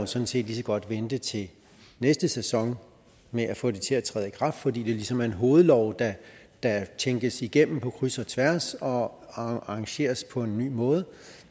sådan set lige så godt vente til næste sæson med at få det til at træde i kraft fordi det ligesom er en hovedlov der der tænkes igennem på kryds og tværs og arrangeres på en ny måde